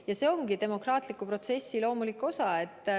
Ja see ongi demokraatliku protsessi loomulik osa.